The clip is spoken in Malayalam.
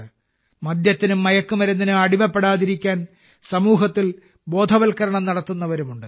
മദ്യത്തിനും മയക്കുമരുന്നിനും അടിമപ്പെടാതിരിക്കാൻ സമൂഹത്തിൽ ബോധവൽക്കരണം നടത്തുന്നവരുമുണ്ട്